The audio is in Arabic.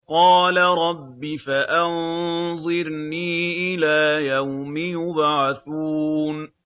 قَالَ رَبِّ فَأَنظِرْنِي إِلَىٰ يَوْمِ يُبْعَثُونَ